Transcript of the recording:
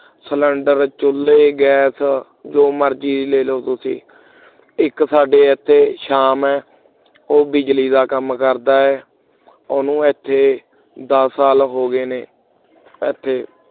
cylinder ਚੁੱਲ੍ਹੇ gas ਜੋ ਮਰਜ਼ੀ ਲੈ ਲਵੋ ਤੁਸੀਂ ਇਕ ਸਾਡੇ ਇੱਥੇ ਸ਼ਾਮ ਹੈ ਉਹ ਬਿਜਲੀ ਦਾ ਕੰਮ ਕਰਦਾ ਹੈ ਉਹਨੂੰ ਇੱਥੇ ਦਸ ਸਾਲ ਹੋ ਗਏ ਨੇ ਇੱਥੇ